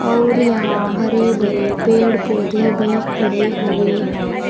और यहां हरे भरे पेड़ पौधे भी खड़े हुए हैं।